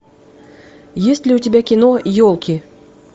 есть ли у тебя кино елки